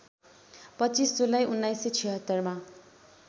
२५ जुलाई १९७६ मा